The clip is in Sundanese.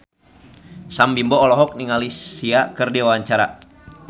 Sam Bimbo olohok ningali Sia keur diwawancara